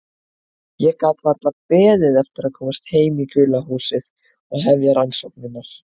Ég gat varla beðið eftir að komast heim í gula húsið og hefja rannsóknirnar.